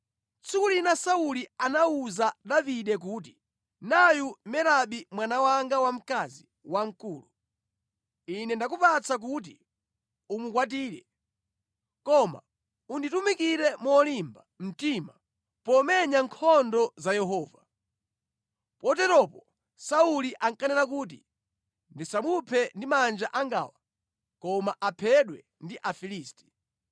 Tsiku lina Sauli anawuza Davide kuti, “Nayu Merabi mwana wanga wamkazi wamkulu. Ine ndakupatsa kuti umukwatire. Koma unditumikire molimba mtima pomenya nkhondo za Yehova.” Poteropo Sauli ankanena kuti, “Ndisamuphe ndi manja angawa koma aphedwe ndi Afilisti!”